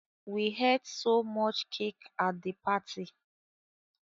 We ate so much cake at the party